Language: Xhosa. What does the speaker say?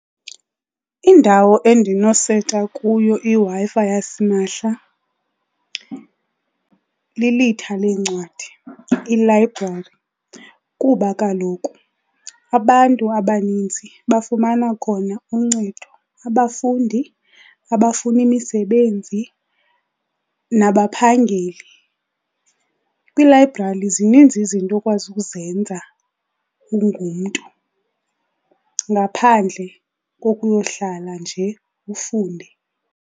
Indawo endinoseta kuyo iWi-Fi yasimahla lilitha leencwadi, ilayibrari. Kuba kaloku abantu abaninzi bafumana khona uncedo, abafundi, abafuna imisebenzi nabaphangeli. Kwilayibrari zininzi izinto okwazi ukuzenza ungumntu, ngaphandle kokuyohlala nje ufunde.